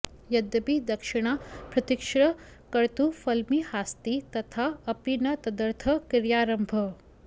यद्यपि दक्षिणा भृतिश्च कर्तुः फल्मिहास्ति तथा अपि न तदर्थः क्रियारम्भः